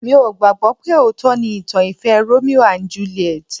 Mi ò gbàgbọ́ pé òótọ́ ni ìtàn ìfẹ́ Romeo and Juliet